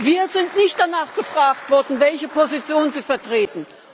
Wir sind nicht danach gefragt worden, welche Position Sie vertreten.